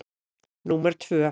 Númer tvö